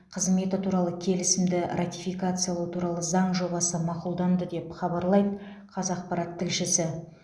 қызметі туралы келісімді ратификациялау туралы заң жобасы мақұлданды деп хабарлайды қазақпарат тілшісі